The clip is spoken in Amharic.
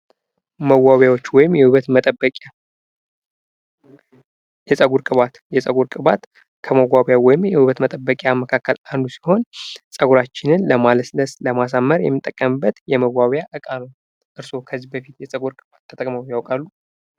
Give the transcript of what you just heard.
መዋቢያዎች ወይም የውበት መጠበቂያ፤ የፀጉር ቅባት፦ የፀጉር ቅባት ከመዋቢያ ወይም የውበት መጠበቂያ መካከል አንዱ ሲሆን ፀጉራችን ለማለስለስ፣ ለማሳመር የምንጠቀምበት የመዋቢያ እቃ ነው። እርስዎ ከዚህ በፊት የፅጉር ቅባት ተጠቅመው ያውቃሉ?